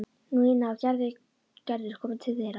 Nína og Gerður komu til þeirra.